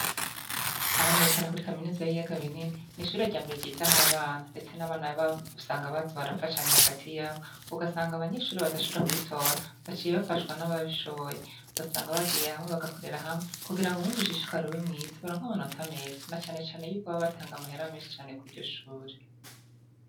Aha murutana kuri kaminiza y'iya gabinini ni ishure rya mbere ryita hoabana, ndetse n'abana busanga abazi barafashanya hagati yabwo ugasanga abanyishuri badashobora kubitora baciye bafashwa n'ababishoboyi basanga bagiye hamwe bagakorera hamwe kugira ngo mwibushishikaro ube mw'iza barankwa amanotameza na canecane yuko ba batanga amahera mesha cane ko iryo shure.